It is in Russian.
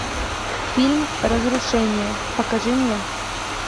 фильм разрушение покажи мне